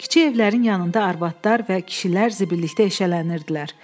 Kiçik evlərin yanında arvadlar və kişilər zibillikdə eşələnirdilər.